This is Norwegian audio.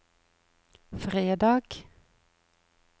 fredag